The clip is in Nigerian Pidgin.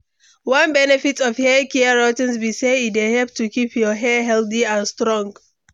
One benefit of haircare routines be say e dey help to keep your hair healthy and strong.